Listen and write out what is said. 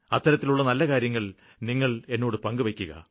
അത്തരത്തിലുള്ള നല്ല കാര്യങ്ങള് നിങ്ങള് എന്നോട് പങ്കുവെയ്ക്കുക